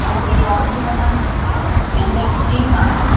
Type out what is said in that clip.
और ये जो बाउंड्री बना है जिसके अंदर में डी मार्ट है--